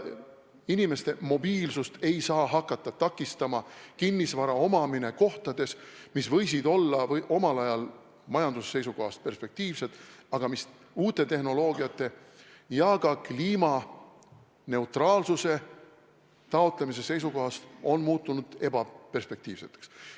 Inimeste mobiilsust ei saa hakata takistama kinnisvara omamine kohtades, mis võisid olla omal ajal majanduse seisukohast perspektiivsed, aga mis uute tehnoloogiate ja ka kliimaneutraalsuse taotlemise ajal on muutunud ebaperspektiivseks.